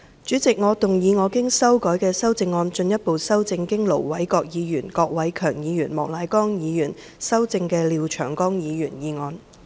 主席，我動議我經修改的修正案，進一步修正經盧偉國議員、郭偉强議員及莫乃光議員修正的廖長江議員議案。